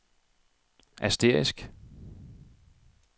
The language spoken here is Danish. asterisk